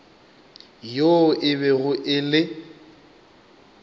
yoo e bego e le